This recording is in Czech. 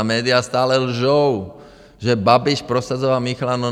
Ta média stále lžou, že Babiš prosazoval Michla.